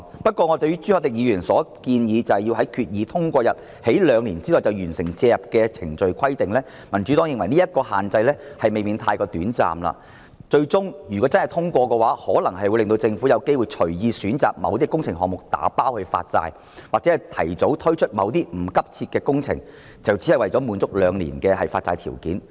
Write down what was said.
不過，朱凱廸議員建議規限政府於通過擬議決議案之日起兩年內進行所有借款交易，民主黨認為時限未免過於短暫，若獲得通過，最終可能會導致政府隨意選擇某些工程項目"打包"發債，或為了滿足兩年的發債限期，提早推出某些不急切的工程。